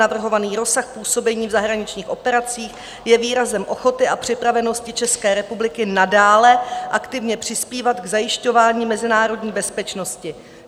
Navrhovaný rozsah působení v zahraničních operacích je výrazem ochoty a připravenosti České republiky nadále aktivně přispívat k zajišťování mezinárodní bezpečnosti.